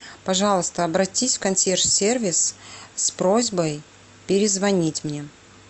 пожалуйста обратись в консьерж сервис с просьбой перезвонить мне